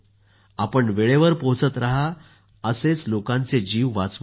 आपण वेळेवर पोहोचत रहा असेच लोकांचे जीव वाचवत रहा